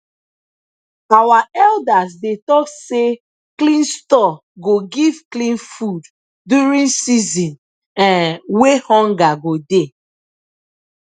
our elders dey talk say clean store go give clean food during season um wey hunger go dey